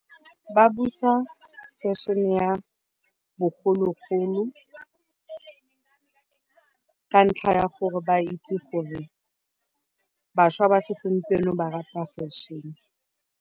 Ba busa fashion ya bogologolo ka ntlha ya gore ba itse gore bašwa ba segompieno ba rata fashion.